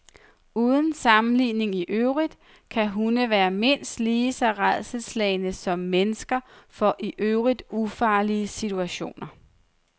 Uden sammenligning i øvrigt kan hunde være mindst lige så rædselsslagne som mennesker for i øvrigt ufarlige situationer.